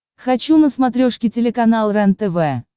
хочу на смотрешке телеканал рентв